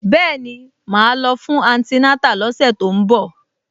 Bẹ́ẹ̀ni, màá lọ fún antinátà lọ́sẹ̀ tó ń bọ̀